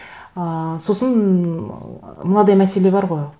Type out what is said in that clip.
ыыы сосын мынадай мәселе бар ғой